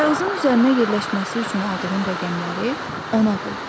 Kağızın üzərinə yerləşməsi üçün aldığın rəqəmləri ona böl.